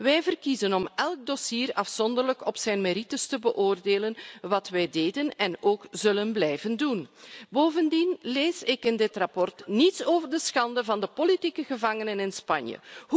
Wij verkiezen het om elk dossier afzonderlijk op zijn merites te beoordelen, wat wij deden en ook zullen blijven doen. Bovendien lees ik in dit verslag niets over de schande van de politieke gevangenen in Spanje.